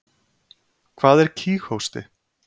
Hvað er kíghósti?